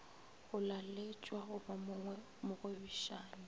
go laletšwa go ba mogwebišani